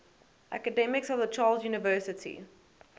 academics of the charles university